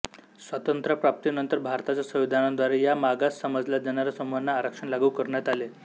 स्वातंत्र्य प्राप्तीनंतर भारताच्या संविधानाद्वारे या मागास समजल्या जाणाऱ्या समूहांना आरक्षण लागू करण्यात आले